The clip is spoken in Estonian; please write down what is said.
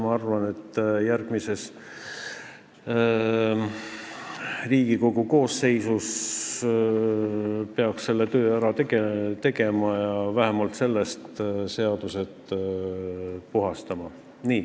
Ma arvan, et järgmises Riigikogu koosseisus peaks selle töö ära tegema ja seadused vähemalt sellest puhastama.